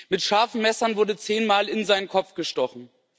Mit scharfen Messern wurde zehnmal in seinen Kopf gestochen.